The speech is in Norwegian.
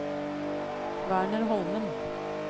Werner Holmen